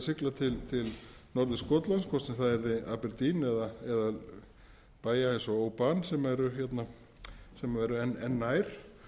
sigla til norður skotlands hvort sem það er aberdeen eða bæja eins og oban sem eru enn nær